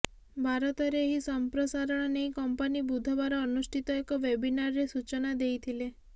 ଭାରତରେ ଏହି ସମ୍ପ୍ରସାରଣ ନେଇ କମ୍ପାନୀ ବୁଧବାର ଅନୁଷ୍ଠିତ ଏକ ୱବିନାରରେ ସୂଚନା ଦେଇଥିଲେ